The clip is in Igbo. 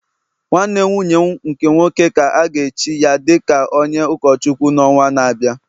Nwanne nwunye m nke nwoke ka a ga-echi ya dị ka onye ụkọchukwu n’ọnwa na-abịa